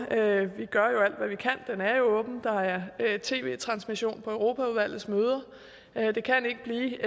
er jo åben der er tv transmission fra europaudvalgets møder det kan ikke blive